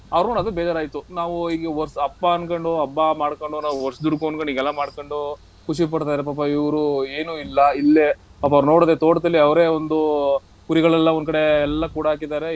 ಅವ್ರ್ ನೋಡ್ ಅದಕ್ ಬೇಜಾರಾಯ್ತು. ನಾವು ಈ ವರ್~ ಅಪ್ಪ ಅನ್ಕೊಂಡು ಹಬ್ಬ ಮಾಡ್ಕೊಂಡು ನಾವ್, ವರ್ಷದುಡುಕು ಅನ್ಕೊಂಡು ಹೀಗೆಲ್ಲಾ ಮಾಡ್ಕೊಂಡು ಖುಷಿ ಪಡ್ತಾರೆ. ಪಾಪ ಇವ್ರು ಏನೂ ಇಲ್ಲಾ ಇಲ್ಲೇ ಪಾಪ ಅವರ್ನ ನೋಡಿದ್ರೆ ತೋಟದಲ್ಲಿ ಅವ್ರೇ ಒಂದು ಆಹ್ ಕುರಿಗಳನ್ನೆಲ್ಲಾ ಒಂದ್ಕಡೆ ಎಲ್ಲಾ ಕೂಡ್ ಹಾಕಿದ್ದಾರೆ.